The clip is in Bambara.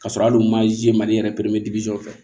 Ka sɔrɔ ali u maze mali yɛrɛ fɛ